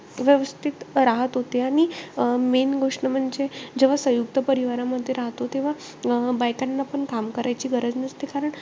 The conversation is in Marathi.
व्यवस्थित राहत होते. आणि अं main गोष्ट म्हणजे, जेव्हा सयुंक्त परिवारामध्ये राहतो. तेव्हा बायकांना पण काम करायची गरज नसते कारण,